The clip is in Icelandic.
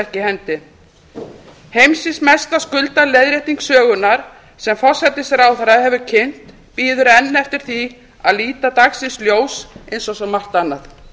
ekki í hendi heimsins mesta skuldaleiðrétting sögunnar sem forsætisráðherra hefur kynnt bíður enn eftir því að líta dagsins ljós eins og svo margt annað